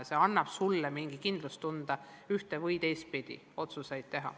See annab mingi kindlustunde ühte- või teistpidi otsuseid teha.